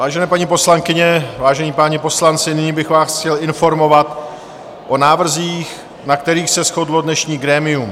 Vážené paní poslankyně, vážení páni poslanci, nyní bych vás chtěl informovat o návrzích, na kterých se shodlo dnešní grémium: